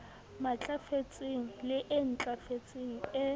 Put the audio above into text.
matlafetseng le e ntlafetseng e